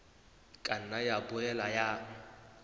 ka nna ya boela ya